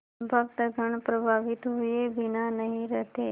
भक्तगण प्रभावित हुए बिना नहीं रहते